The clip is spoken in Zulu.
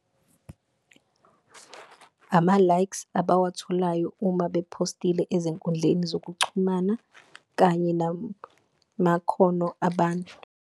Ama-likes abawatholayo uma bephostile ezinkundleni zokuxhumana kanye namakhono abantu.